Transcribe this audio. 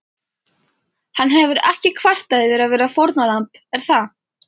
Hann hefur ekki kvartað yfir að vera fórnarlamb er það?